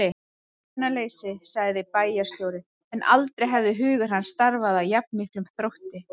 Hugsunarleysi sagði bæjarstjórinn, en aldrei hafði hugur hans starfað af jafn miklum þrótti.